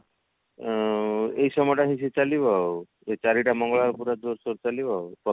ଉଁ ଏଇ ସମୟ ଟା ବେଶୀ ଚାଲିବ ଆଉ ଏଇ ଚାରିଟା ମଙ୍ଗଳବାର ପୁରା ଜୋର ସୋର ଚାଲିବ ଆଉ